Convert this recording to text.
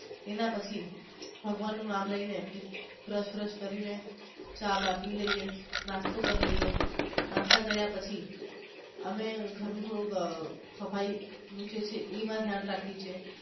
એના પછી ભગવાન નું નામ લઇ ને બ્રશ બ્રશ કરી ને ચા પી લયે નાસ્તો કરી લાયે નાસ્તો કર્યા પછી અમે ઘર નું થોડુંક સફાઈ નું જે છે એનું ધ્યાન રાખી છી.